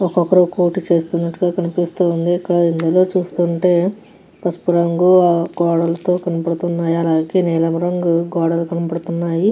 ఒక ఒకరు చేస్తునాటు కనిపిస్తుంది. కానీ ఇందులో చూస్తుంటే పసుపు రంగు నిలం రంగు గోడలకి కనిపిస్తునది.